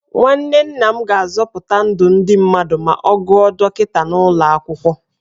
Nwanne nna m ga-azọpụta ndụ ndị mmadụ ma ọ gụọ dọkịta n'ụlọ akwụkwọ.